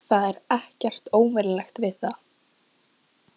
Það var ekkert óvenjulegt við það.